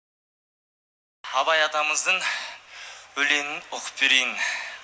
абай атамыздың өлеңін оқып берейін